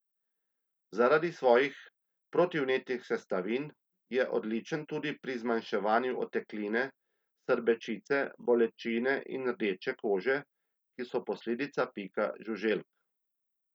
Zaradi svojih protivnetnih sestavin je odličen tudi pri zmanjševanju otekline, srbečice, bolečine in rdeče kože, ki so posledica pika žuželk.